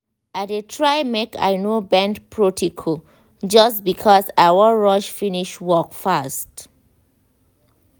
i dey try make i no bend protocol just because i wan rush finish work fast.